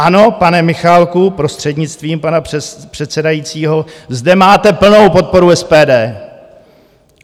Ano, pane Michálku, prostřednictvím pana předsedajícího, zde máte plnou podporu SPD.